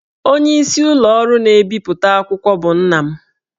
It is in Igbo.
Onyeisi ụlọ ọrụ na-ebipụta akwụkwọ bụ nna m